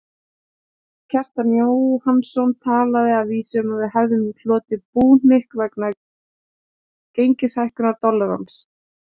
Kjartan Jóhannsson talaði að vísu um að við hefðum hlotið búhnykk vegna gengishækkunar dollarans.